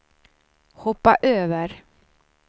hoppa över